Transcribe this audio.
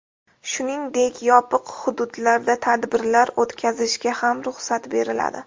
Shuningdek, yopiq hududlarda tadbirlar o‘tkazishga ham ruxsat beriladi.